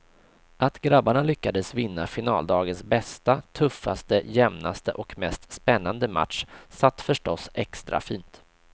Att grabbarna lyckades vinna finaldagens bästa, tuffaste, jämnaste och mest spännande match satt förstås extra fint.